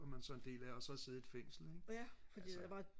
som man så er en del af og så og sidde i et fængsel ikke altså